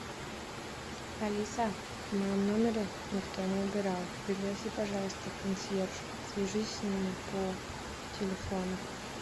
алиса в моем номере никто не убирал пригласи пожалуйста консьержа свяжись с ними по телефону